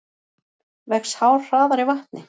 Vex hár hraðar í vatni?